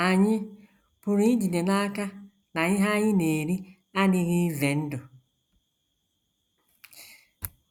Ànyị pụrụ ijide n’aka na ihe anyị na - eri adịghị ize ndụ?